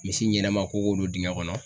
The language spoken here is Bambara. Misi ɲɛnɛma ko ko don dingɛ kɔnɔ.